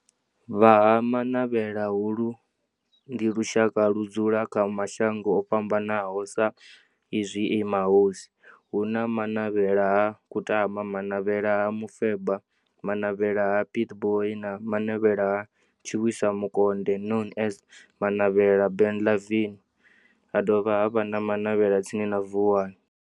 Vha ha Manavhela, holu ndi lushaka ludzula kha mashango ofhambanaho sa izwi e mahosi, hu na Manavhela ha Kutama, Manavhela ha Mufeba, Manavhela ha Pietboi na Manavhela ha Tshiwisa Mukonde known as Manavhela Benlavin, ha dovha havha na Manavhela tsini na Vuwani.